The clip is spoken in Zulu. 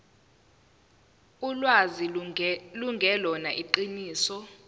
ulwazi lungelona iqiniso